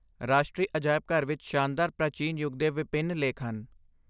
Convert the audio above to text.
ਰਾਸ਼ਟਰੀ ਅਜਾਇਬ ਘਰ ਵਿੱਚ ਸ਼ਾਨਦਾਰ ਪ੍ਰਾਚੀਨ ਯੁੱਗ ਦੇ ਵਿਭਿੰਨ ਲੇਖ ਹਨ।